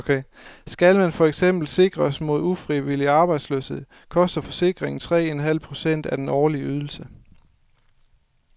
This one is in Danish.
Skal man for eksempel sikres mod ufrivillig arbejdsløshed, koster forsikringen tre en halv procent af den årlige ydelse.